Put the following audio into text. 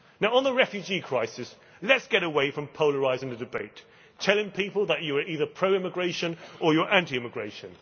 On the refugee crisis, let us get away from polarising the debate telling people that you are either pro immigration or you are anti immigration